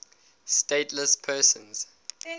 stateless persons